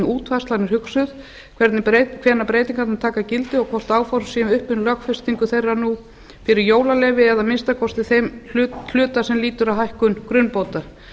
útfærslan er hugsuð hvenær breytingarnar taka gildi og hvort áhorf séu uppi um lögfestingu þeirra nú fyrir jólaleyfi eða að minnsta kosti þeim hluta sem lýtur að hækkun grunnbóta